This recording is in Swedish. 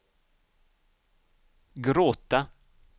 gråta